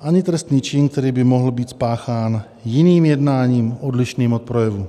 ani trestný čin, který by mohl být spáchán jiným jednáním odlišným od projevu.